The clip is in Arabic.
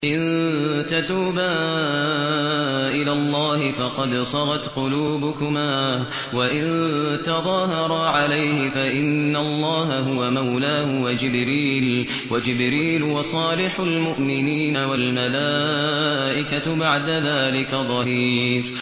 إِن تَتُوبَا إِلَى اللَّهِ فَقَدْ صَغَتْ قُلُوبُكُمَا ۖ وَإِن تَظَاهَرَا عَلَيْهِ فَإِنَّ اللَّهَ هُوَ مَوْلَاهُ وَجِبْرِيلُ وَصَالِحُ الْمُؤْمِنِينَ ۖ وَالْمَلَائِكَةُ بَعْدَ ذَٰلِكَ ظَهِيرٌ